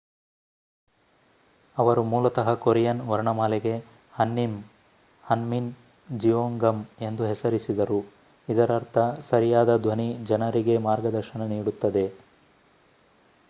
ಅವರು ಮೂಲತಃ ಕೊರಿಯನ್ ವರ್ಣಮಾಲೆಗೆ ಹನ್ಮಿನ್ ಜಿಯೊಂಗಮ್ ಎಂದು ಹೆಸರಿಸಿದರು ಇದರರ್ಥ ಸರಿಯಾದ ಧ್ವನಿ ಜನರಿಗೆ ಮಾರ್ಗದರ್ಶನ ನೀಡುತ್ತದೆ